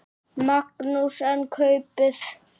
Magnús: En kaupið?